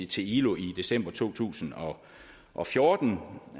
til ilo i december to tusind og fjorten